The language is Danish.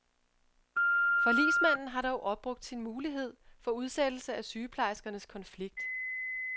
Forligsmanden har dog opbrugt sin mulighed for udsættelse af sygeplejerskernes konflikt.